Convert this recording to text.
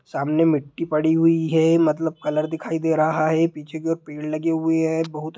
सामने मिट्टी पड़ी हुई है मतलब कलर दिखाई दे रहा है| पीछे की और पेड़ लगे हुए है बहुत ।